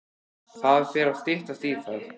Það fer að styttast í það.